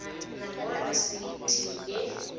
nangona sithi le